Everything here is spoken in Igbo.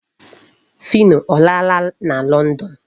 Phyno ọ laala na London?